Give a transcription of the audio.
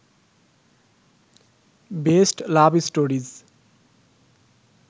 best love stories